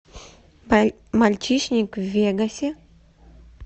мальчишник в вегасе